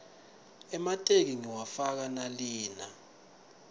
emateki ngiwafaka nalina